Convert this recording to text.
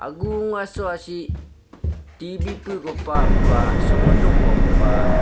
aso asi tv pugu papa sodung mapa.